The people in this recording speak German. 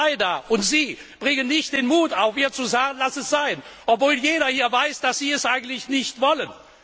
Und ihr zwei da und Sie bringen nicht den Mut auf, ihr zu sagen Lass es sein! Obwohl jeder hier weiß, dass Sie es eigentlich nicht wollen.